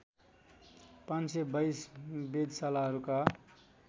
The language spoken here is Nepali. ५२२ वेधशालाहरूका